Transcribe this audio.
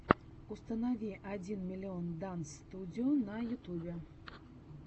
установи один миллион данс студио на ютубе